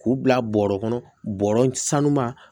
K'u bila bɔrɔ kɔnɔ bɔrɔ sanuba